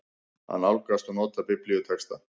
AÐ NÁLGAST OG NOTA BIBLÍUTEXTA